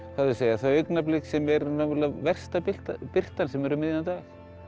þau augnablik sem er versta birtan birtan sem er um miðjan dag